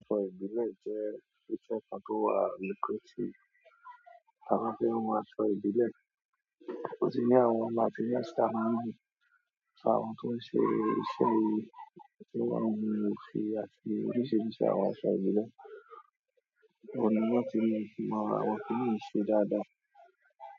Aṣọ ìbílẹ̀ jẹ́ iṣẹ́ kan tó wà lucrative, àwọn ti n hun asọ ìbílẹ̀. Wọ́n sì ní àwọn materials ti a máa ń lo àwọn tó ń ṣe iṣẹ́ yìí, tí wọ́n n hun ofi àti oríṣiríṣi àwọn aṣọ ìbílẹ̀, ọ̀pọ̀ ni wọ́n ti fi mọ àwọn kin ni yìí ṣe dáadáa.